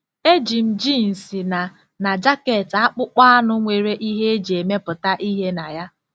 Eji m jeans na na jaket akpụkpọ anụ nwere ihe e ji emepụta ihe na ya.